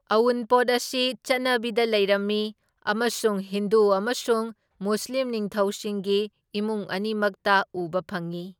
ꯑꯎꯟꯄꯣꯠ ꯑꯁꯤ ꯆꯠꯅꯕꯤꯗ ꯂꯩꯔꯝꯃꯤ ꯑꯃꯁꯨꯡ ꯍꯤꯟꯗꯨ ꯑꯃꯁꯨꯡ ꯃꯨꯁꯂꯤꯝ ꯅꯤꯡꯊꯧꯁꯤꯡꯒꯤ ꯏꯃꯨꯡ ꯑꯅꯤꯃꯛꯇ ꯎꯕ ꯐꯪꯏ꯫